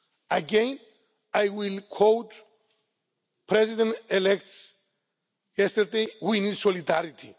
Again, I will quote the President elect from yesterday we need solidarity.